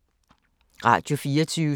Radio24syv